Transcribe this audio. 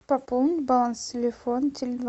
пополнить баланс телефона теле два